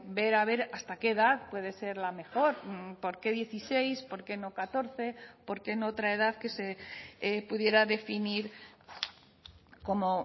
ver a ver hasta qué edad puede ser la mejor por qué dieciséis por qué no catorce por qué no otra edad que se pudiera definir como